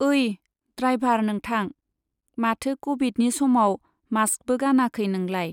ओइ, द्रायभार नोंथां! माथो क'भिदनि समाव मास्कबो गानाखै नोंलाय?